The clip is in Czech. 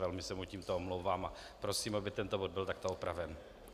Velmi se mu tímto omlouvám a prosím, aby tento bod byl takto opraven.